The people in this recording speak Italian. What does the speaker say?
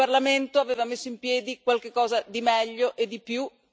Il Parlamento aveva messo in piedi qualche cosa di meglio e di più.